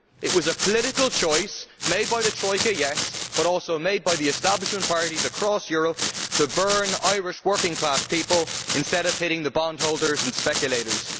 It was a political choice, made by the Troika, yes, but also made by the establishment parties across Europe, to burn Irish working class people instead of hitting the bondholders and speculators.